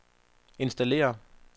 installér